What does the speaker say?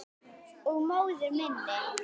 Og móður minni.